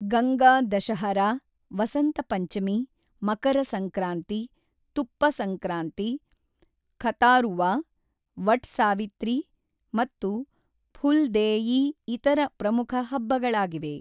ಗಂಗಾ ದಶಹರಾ, ವಸಂತ ಪಂಚಮಿ, ಮಕರ ಸಂಕ್ರಾಂತಿ, ತುಪ್ಪ ಸಂಕ್ರಾಂತಿ, ಖತಾರುವಾ, ವಟ್ ಸಾವಿತ್ರಿ ಮತ್ತು ಫುಲ್ ದೇಯಿ ಇತರ ಪ್ರಮುಖ ಹಬ್ಬಗಳಾಗಿವೆ.